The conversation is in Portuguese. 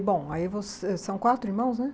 Bom, aí vocês são quatro irmãos, né?